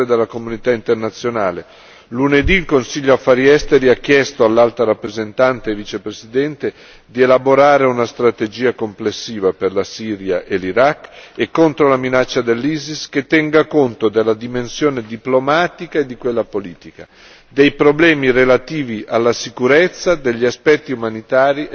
Lunedì il Consiglio Affari esteri ha chiesto all'Alta rappresentante e Vicepresidente di elaborare una strategia complessiva per la Siria e l'Iraq, e contro la minaccia dell'ISIS, che tenga conto della dimensione diplomatica e di quella politica, dei problemi relativi alla sicurezza, degli aspetti umanitari e dello sviluppo socioeconomico.